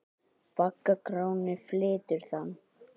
Bagga Gráni flytur þann.